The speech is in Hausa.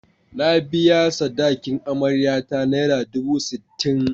Na biya sadakin amaryata naira dubu sittin.